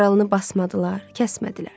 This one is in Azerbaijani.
Yaralını basmadılar, kəsmədilər.